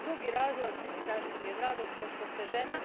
Drugi razlog zašto mi je drago je to što ste žena.